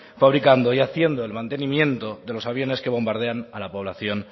fabricando y haciendo el mantenimiento de los aviones que bombardean a la población